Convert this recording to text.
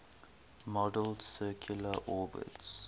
model's circular orbits